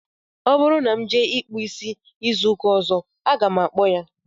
Ọ bụrụ na m jee ịkpụ isi izu ụka ọzọ, aga m akpọ ya